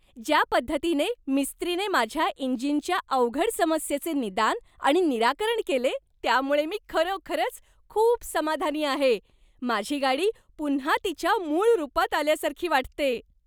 ज्या पद्धतीने मिस्त्रीने माझ्या इंजिनच्या अवघड समस्येचे निदान आणि निराकरण केले त्यामुळे मी खरोखरच खूप समाधानी आहे, माझी गाडी पुन्हा तिच्या मूळ रुपात आल्यासारखी वाटते.